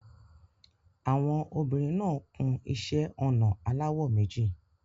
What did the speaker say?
Àwọn obìnrin náà kun iṣẹ́-ọnà aláwọ̀ méjì.